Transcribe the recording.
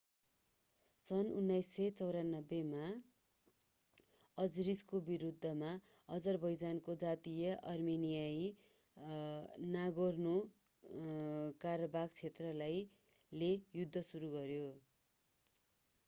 सन् १९९४ मा अजरिसको विरूद्ध अजरबैजानको जातीय अर्मेनियाई नागोर्नो-काराबाख क्षेत्रले युद्ध सुरु गर्‍यो।